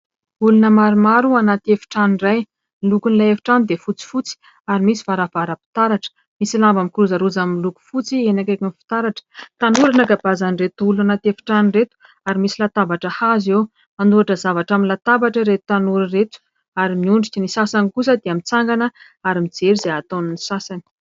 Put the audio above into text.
Olona maromaro anaty efitrano iray. Ny lokon'ilay efitrano dia fotsifotsy ary misy varavaram-pitaratra, misy lamba mikorozaroza miloko fotsy eny akaiky ny fitaratra. Tanora no ankabeazan'ireto olona anaty efitrano ireto ary misy latabatra hazo eo, hanoratra zavatra amin'ny latabatra ireto tanora ireto ary miondrika, ny sasany kosa dia mitsangana ary mijery izay ataon'ny sasany.